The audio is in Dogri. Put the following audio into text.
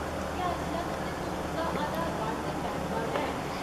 क्या इसलै तुं'दे कोल तुं'दा आधार कार्ड ते पैन कार्ड है ?